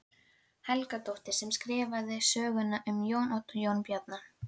Helgadóttur sem skrifaði sögurnar um Jón Odd og Jón Bjarna.